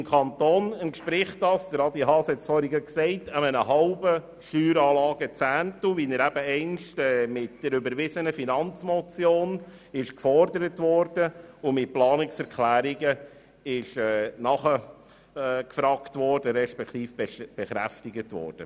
Beim Kanton entspricht das einem halben Steueranlagezehntel, wie dies mit der überwiesenen Finanzmotion gefordert und mit Planungserklärungen bekräftigt wurde.